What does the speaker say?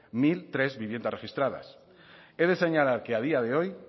mil tres viviendas registradas he de señalar que a día de hoy